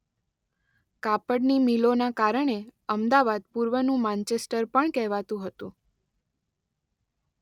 કાપડની મિલોના કારણે અમદાવાદ પૂર્વનું 'માંચેસ્ટર' પણ કહેવાતું હતું.